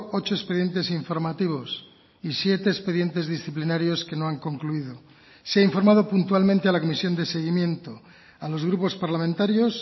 ocho expedientes informativos y siete expedientes disciplinarios que no han concluido se ha informado puntualmente a la comisión de seguimiento a los grupos parlamentarios